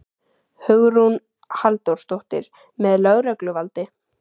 Hugrún Halldórsdóttir: Með lögregluvaldi?